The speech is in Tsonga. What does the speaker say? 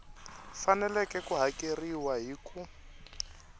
faneleke ku hakeriwa hi ku